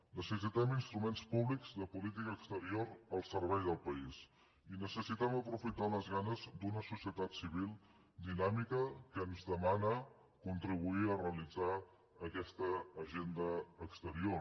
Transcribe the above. necessitem instruments públics de política exterior al servei del país i necessitem aprofitar les ganes d’una societat civil dinàmica que ens demana contribuir a realitzar aquesta agenda exterior